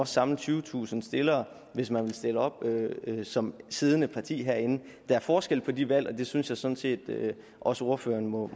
samle tyvetusind stillere hvis man vil stille op som siddende parti herinde der er forskel på de valg og det synes jeg sådan set også ordføreren må